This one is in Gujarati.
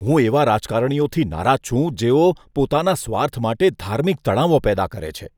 હું એવા રાજકારણીઓથી નારાજ છું, જેઓ પોતાના સ્વાર્થ માટે ધાર્મિક તણાવો પેદા કરે છે.